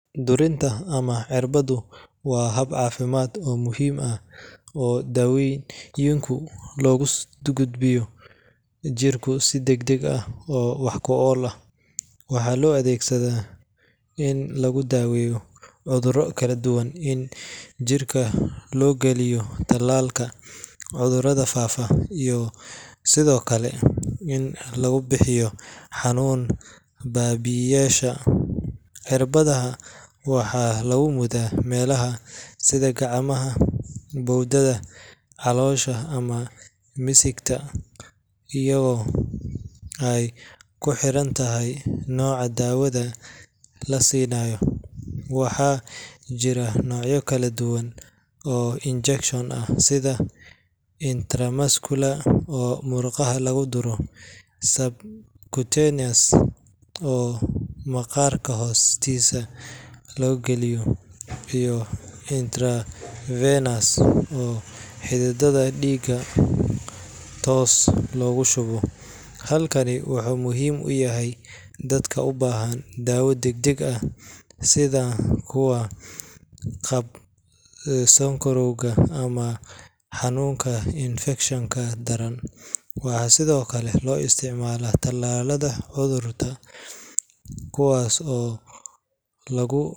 Duriinka ama cirbaddu waa hab caafimaad oo muhiim ah oo daawooyinka loogu gudbiyo jirka si degdeg ah oo wax ku ool ah. Waxaa loo adeegsadaa in lagu daweeyo cudurro kala duwan, in jirka loo galiyo tallaalka cudurada faafa, iyo sidoo kale in lagu bixiyo xanuun baabi’iyeyaasha. Cirbadaha waxaa lagu mudaa meelaha sida gacmaha, bowdyaha, caloosha ama misigta iyadoo ay ku xiran tahay nooca daawada la siinayo. Waxaa jira noocyo kala duwan oo injection ah sida intramuscular oo murqaha lagu duro, subcutaneous oo maqaarka hoostiisa lagu geliyo, iyo intravenous oo xididdada dhiigga toos loogu shubo. Habkani wuxuu muhiim u yahay dadka u baahan daawo degdeg ah sida kuwa qaba sokorowga ama xanuunnada infekshanka daran. Waxaa sidoo kale loo isticmaalaa tallaalada carruurta kuwaas oo lagu.